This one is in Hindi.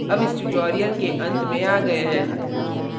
अब इस tutorial के अंत में आ गये हैं